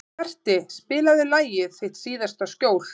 Berti, spilaðu lagið „Þitt síðasta skjól“.